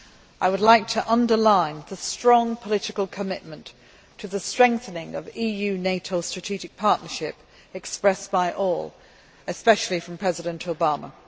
I would like to underline the strong political commitment to the strengthening of the EU NATO strategic partnership expressed by all, especially from President Obama.